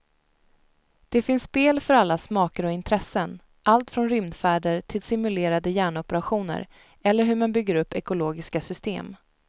Det finns spel för alla smaker och intressen, allt från rymdfärder till simulerade hjärnoperationer eller hur man bygger upp ekologiska system.